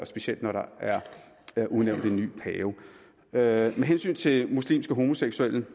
specielt når der er udnævnt en ny pave med hensyn til muslimske homoseksuelle